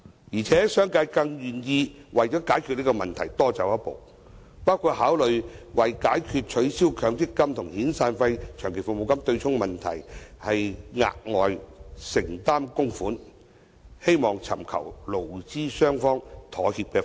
而且，商界更願意為解決這個問題而多走一步，包括考慮為解決取消強積金和遣散費、長期服務金對沖的問題，額外承擔供款，希望尋求勞資雙方妥協的方案。